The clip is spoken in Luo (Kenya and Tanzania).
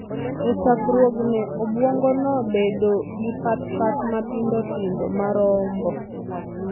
E chakruokne, obwongono bedo gi pat-pat matindo tindo ma rombo.